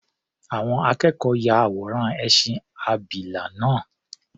Àwọn akẹ́kọ̀ọ́ ya àwòrán ẹṣin abìlà náà.